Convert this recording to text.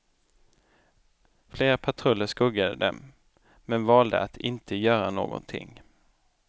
Flera patruller skuggade dem, men valde att inte göra någonting.